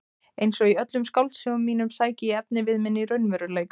Einsog í öllum skáldsögum mínum sæki ég efnivið minn í raunveruleikann.